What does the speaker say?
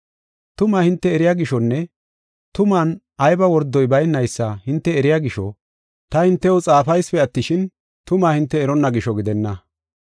Tumaa hinte eriya gishonne tuman ayba wordoy baynaysa hinte eriya gisho, taani hintew xaafaysipe attishin, tumaa hinte eronna gisho gidenna.